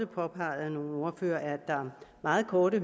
påpeget af nogle ordførere meget korte